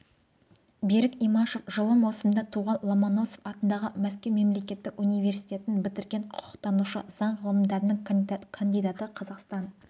берік имашев жылы маусымда туған ломоносов атындағы мәскеу мемлекеттік университетін бітірген құқықтанушы заң ғылымдарының кандидаты қазақстан